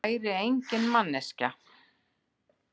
Væri engin manneskja.